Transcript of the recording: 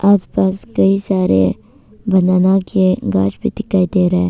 आस पास कहीं सारे बनाना के गाछ भी दिखाई दे रहा है।